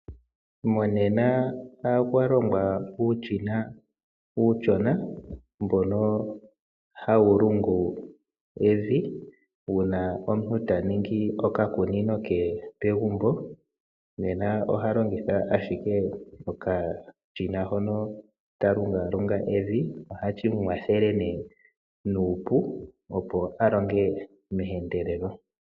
Monena okwa longwa uushina uushona mbono hawu lungu evi uuna omuntu ta ningi oka kunino ke pegumbo. Nena oha longitha ashike okashina hono ta lungalunga evi. Nena ohashi mu kwathele nuupu opo a longe meendelelo.